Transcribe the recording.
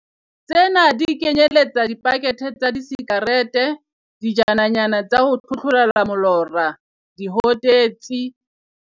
Tsena di kenyeletsa dipakethe tsa disikarete, dijananyana tsa ho tlhotlhorela molora, dihotetsi.